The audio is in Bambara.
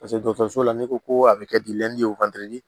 so la n'i ko ko a bɛ kɛ